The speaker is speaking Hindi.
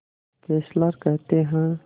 फेस्लर कहते हैं